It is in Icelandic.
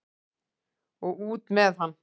Og út með hann!